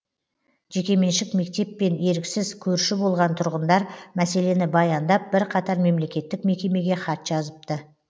жекеменшік мектеппен еріксіз көрші болған тұрғындар мәселені баяндап бірқатар мемлекеттік мекемеге хат жазыпты